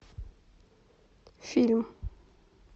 фильм